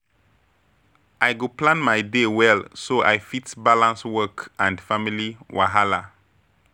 I go plan my day well so I fit balance work and family wahala.